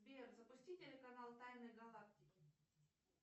сбер запусти телеканал тайны галактики